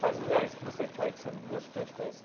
Quais lugares que você foi, que você gostou de conhecer?